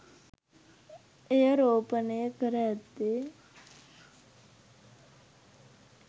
එය රෝපණය කර ඇත්තේ